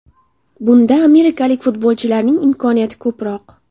Bunda amerikalik futbolchilarning imkoniyati ko‘proq.